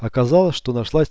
оказалось что нашлась